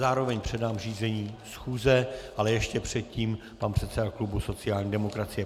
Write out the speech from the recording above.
Zároveň předám řízení schůze - ale ještě předtím pan předseda klubu sociální demokracie.